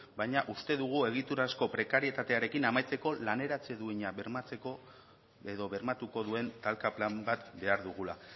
baina uste dugu egiturazko prekarietatearekin amaitzeko laneratze duina bermatzeko edo bermatuko duen talka plan bat behar dugula